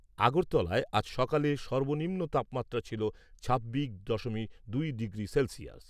আগরতলায় আজ সকালে সর্বনিম্ন তাপমাত্রা ছিল ছাব্বিশ দশমিক দুই ডিগ্রি সেলসিয়াস।